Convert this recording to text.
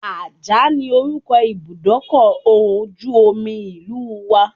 Ajah ni orúkọ Ibùdókọ̀ ojú omi ìlú wa.